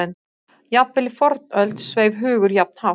Jafnvel í fornöld sveif hugur jafn hátt.